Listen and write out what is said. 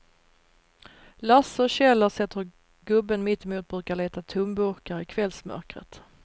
Lasse och Kjell har sett hur gubben mittemot brukar leta tomburkar i kvällsmörkret.